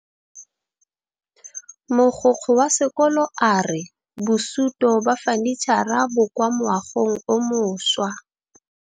Mogokgo wa sekolo a re bosutô ba fanitšhara bo kwa moagong o mošwa.